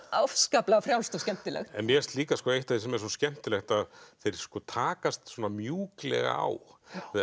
afskaplega frjálst og skemmtilegt mér finnst líka eitt af því sem er svo skemmtilegt að þeir takast svona mjúklega á